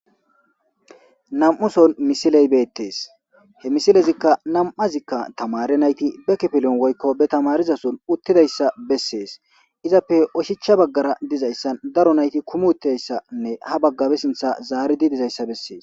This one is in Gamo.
Nam'uson misiley beettees he misilezikka nam'azikka tamare nayti bekepilon woykko be tamarizason uttidayssa bessees izappe oshicha baggara dizayssan daro nayti kumuteyssanne ha baggabe sintha zaaridi dizayssa bessees.